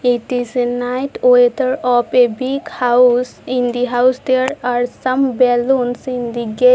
It is a night weather of a big house in the house there are some balloons in the gate.